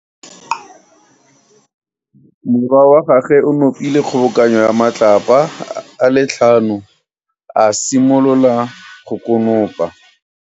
Morwa wa gagwe o nopile kgobokano ya matlapa a le tlhano, a simolola go konopa.